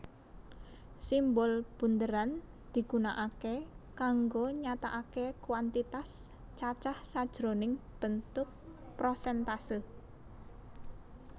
Simbol bunderan digunakake kanggo nyatakake kuantitas cacah sajroning bentuk prosèntase